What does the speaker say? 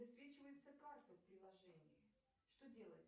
высвечивается карта в приложении что делать